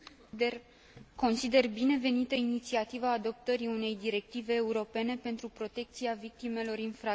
Consider binevenită inițiativa adoptării unei directive europene pentru protecția victimelor infracțiunilor.